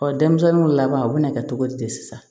denmisɛnninw laban u bɛna kɛ cogo di sisan